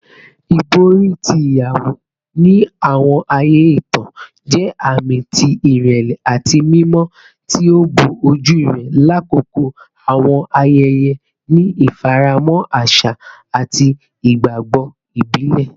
Ibori ti iyawo, ni awọn aaye itan, jẹ aami ti irẹlẹ ati mimọ, ti o bo oju rẹ lakoko awọn ayẹyẹ ni ifaramọ aṣa ati igbagbọ ibile.